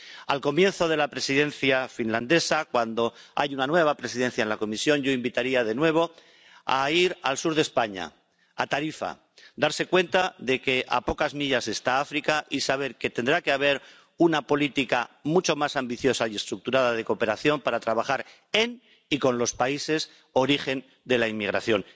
Al comienzo de la Presidencia finlandesa, cuando hay una nueva presidencia en la Comisión, yo invitaría de nuevo a ir al sur de España, a Tarifa, para darse cuenta de que a pocas millas está África y saber que tendrá que haber una política mucho más ambiciosa y estructurada de cooperación para trabajar en y con los países origen de la inmigración.